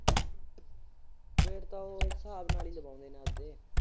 Wait ਤਾਂ ਉਹ ਸਾਬ ਨਾਲ ਈ ਲਵਾਉਂਦੇ ਨੇ ਆਪਦੇ।